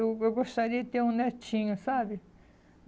Eu go gostaria de ter um netinho, sabe?